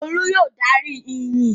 Olú yóò darí ìyìn!